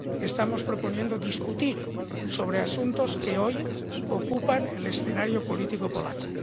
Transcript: Estamos proponiendo debatir sobre asuntos que hoy ocupan el escenario político polaco.